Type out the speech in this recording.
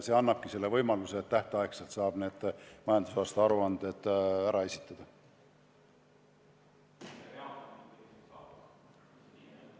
See annabki võimaluse tähtajaks majandusaasta aruanded ära esitada.